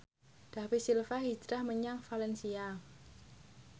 David Silva hijrah menyang valencia